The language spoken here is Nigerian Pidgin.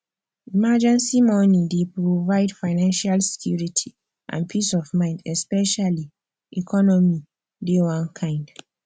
emergency money dey provide financial security and peace of mind especially economy dey one kind